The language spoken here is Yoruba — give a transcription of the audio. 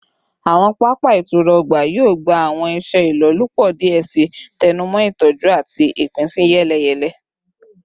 Awọn papa itura ọgba yoo gba awọn iṣe ilolupo diẹ sii, tẹnumọ itọju ati ipinsiyeleyele